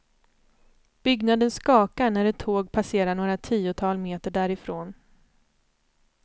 Byggnaden skakar när ett tåg passerar några tiotal meter därifrån.